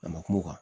A makumu kan